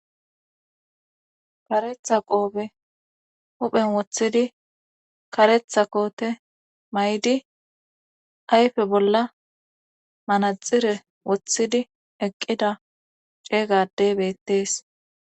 karetha qoobe huphen woththidi karetha koote may7di ayfe bolla manaxire wothidi eqqida ceeygadeybettees.